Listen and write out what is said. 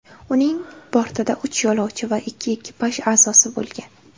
Uning bortida uch yo‘lovchi va ikki ekipaj a’zosi bo‘lgan.